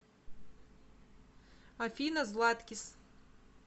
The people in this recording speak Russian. афина златкис